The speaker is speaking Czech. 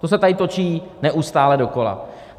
To se tady točí neustále dokola.